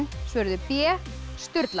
svöruðu b